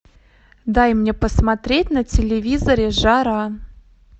дай мне посмотреть на телевизоре жара